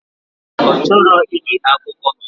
Ọchọrọ ige akụkọ.